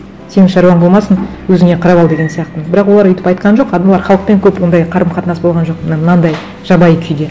сенің шаруаң болмасын өзіңе қарап ал деген сияқты бірақ олар өйтіп айтқан жоқ олар халықпен көп ондай қарым қатынас болған жоқ мына мынандай жабайы күйде